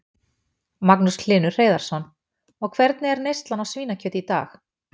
Magnús Hlynur Hreiðarsson: Og hvernig er neyslan á svínakjöti í dag?